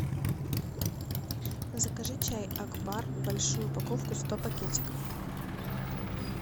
закажи чай акбар большую упаковку сто пакетиков